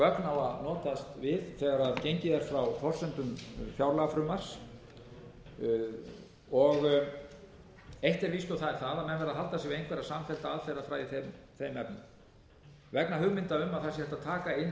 á að notast við þegar gengið er frá forsendum fjárlagafrumvarps eitt er víst og það er það að menn verða að halda sig við einhverja samfellda aðferðafræði í þeim efnum vegna hugmynda um að það sé hægt að taka inn